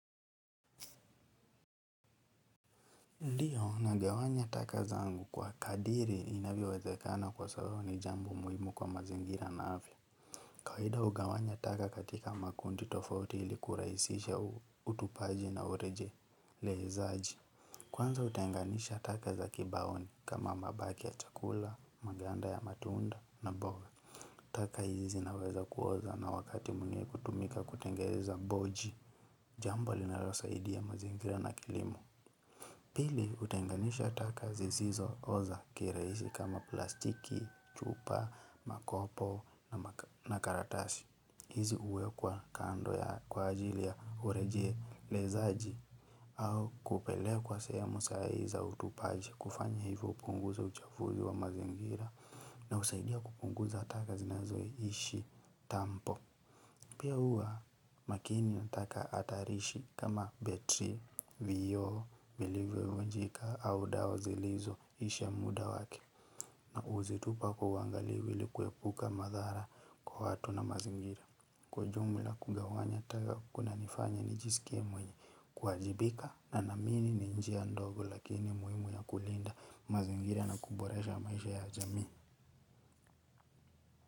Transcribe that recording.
Ndio nagawanya taka zangu kwa kadiri inavyowezekana kwa sababu ni jambo muhimu kwa mazingira na afya. Kawaida hugawanya taka katika makundi tofauti ilikurahisisha utupaji na urejelezaaji. Kwanza kutenganisha taka za kibaoni kama mabaki ya chakula, maganda ya matunda na mboga. Taka hizi zinaweza kuoza na wakati mwenye kutumika kutengeza mboji. Jambo linalosaidia mazingira na kilimo. Pili hutenganisha taka zisizo oza kirahisi kama plastiki, chupa, makopo na karatasi. Hizi huwekwa kando ya kwa ajili ya urejelezaji au kupelekwa sehemu sahihi za utupaji kufanya hivyo hupunguza uchafuzi wa mazingira na husaidia kupunguza taka zinazoishi tampo. Pia huwa makini na taka hatarishi kama betri, vio, vilivyovunjika au dawa zilizoisha muda wake na huzitupa kwa uangalifu ili kuepuka madhara kwa watu na mazingira. Kwa jumla kugawanya taka kuna nifanya nijisikie mwenye kuwajibika na naamini ni njia ndogo lakini muhimu ya kulinda mazingira na kuboresha maisha ya jamii.